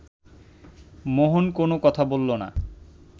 মোহন কোনো কথা বলল না